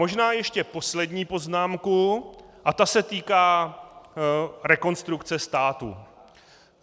Možná ještě poslední poznámku a ta se týká Rekonstrukce státu.